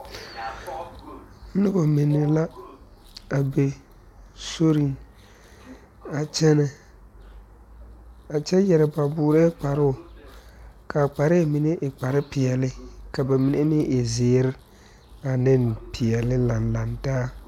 Noba mine lɛ a be sori a kyɛne a kyɛ yeere ba boɛ kparo kaa kparre mine e kpare peɛle ka ba mine meŋ e ziiri ane peɛle lan lan taa.